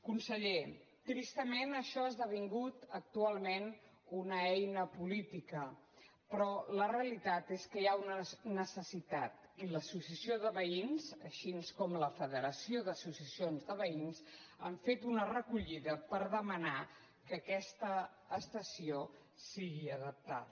conseller tristament això ha esdevingut actualment una eina política però la realitat és que hi ha una necessitat i l’associació de veïns així com la federació d’associacions de veïns han fet una recollida per demanar que aquesta estació sigui adaptada